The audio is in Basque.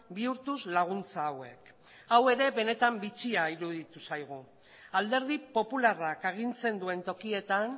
bihurtuz laguntza hauek hau ere benetan bitxia iruditu zaigu alderdi popularrak agintzen duen tokietan